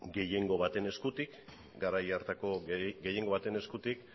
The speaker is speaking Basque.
gehiengo baten eskutik garai hartako gehiengo baten eskutik